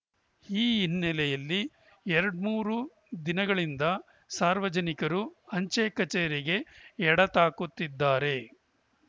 ಈ ಹಿನ್ನೆಲೆಯಲ್ಲಿ ಎರಡ್ಮೂರು ದಿನಗಳಿಂದ ಸಾರ್ವಜನಿಕರು ಅಂಚೆ ಕಚೇರಿಗೆ ಎಡತಾಕುತ್ತಿದ್ದಾರೆ